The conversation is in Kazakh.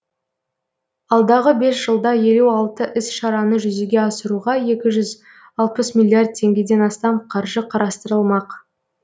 алдағы бес жылда елу алты іс шараны жүзеге асыруға екі жүз алпыс миллиард теңгеден астам қаржы қарастырылмақ